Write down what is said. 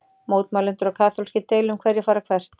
Mótmælendur og kaþólskir deila um hverjir fara hvert.